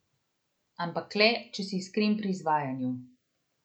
Ampak le, če si iskren pri izvajanju.